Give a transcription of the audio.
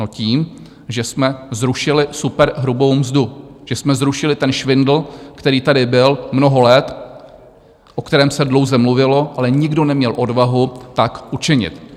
No tím, že jsme zrušili superhrubou mzdu, že jsme zrušili ten švindl, který tady byl mnoho let, o kterém se dlouze mluvilo, ale nikdo neměl odvahu tak učinit.